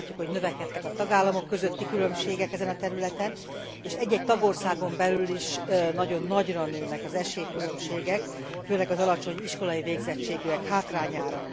Azt látjuk, hogy növekedtek a tagállamok közötti különbségek ezen a területen, és egy egy tagországon belül is nagyon nagyra nőnek az esélykülönbségek, főleg az alacsony iskolai végzettségűek hátrányára.